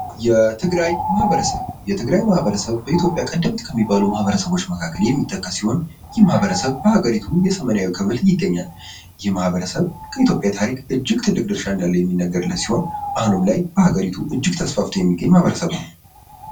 የትግራይ ማህበረሰብ የትግራይ ማህበረሰብ በኢትዮጵያ ቀደምት ከሚባሉ ማህበረሰቦች የሚጠቀስ ሲሆን ይህ ማህበረሰብ በሀገሪቱ ሰሜናዊ ክፍል ይገኛል። ይህ ማህበረሰብ ከኢትዮጵያ ታሪክ እጅግ ትልቅ ድርሻ እንዳለው የሚነገርለት ሲሆን ደሀገሪቱ እጅግ ተስፋፍቶ የሚገኝ ማህበረሰብ ነው።